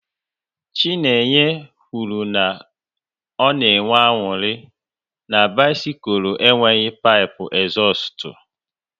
Chinenye kwụrụ na ọ na enwe aṅụrị na bisikul enweghị pipu ezustu